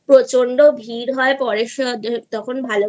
প্রচন্ড ভিড় হয় তখন